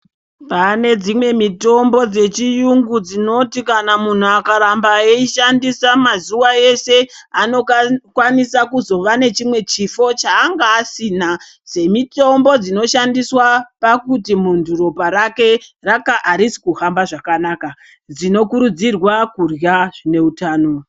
Pane dzimwe mitombo dzechiyungu dzinoti kana muntu akaramba eishandisa mazuwa eshe anokwanisa kuzova nechimwe chifo change asina semitombo dzinoshandiswa pakuti muntu ropa rake arisi kuhamba zvakanaka, zvinokurudzirwa kurya zvine utano.